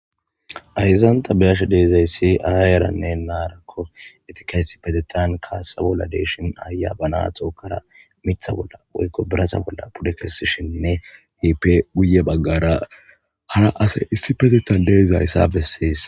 Ayzanta biyashe deezayssi aayeranne naarakko etikaysi petetan kaasa bolla deeshin aaya ba naa xookara mitha bolla boykko birasa bolla pude kessishinne yiip guye baggara hara asey issi petetan deezayssa bessees